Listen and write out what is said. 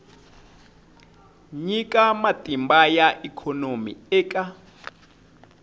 nyika matimba ya ikhonomi eka